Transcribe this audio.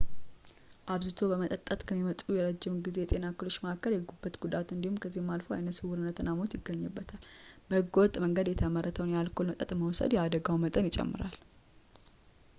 አብዝቶ በመጠጣት ከሚመጡ የረዥም ጊዜ የጤና እክሎች መካከል የጉበት ጉዳት እና ከዚያም አልፎ አይነስውርነት እና ሞት ይገኙበታል በህገወጥ መንገድ የተመረተውን የአልኮል መጠጥ መውሰድ የአደጋው መጠን ይጨምራል